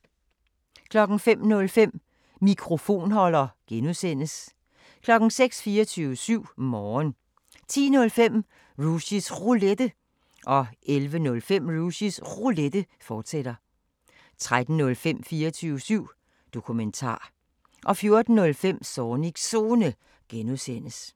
05:05: Mikrofonholder (G) 06:00: 24syv Morgen 10:05: Rushys Roulette 11:05: Rushys Roulette, fortsat 13:05: 24syv Dokumentar 14:05: Zornigs Zone (G)